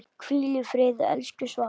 Hvíl í friði, elsku Svafa.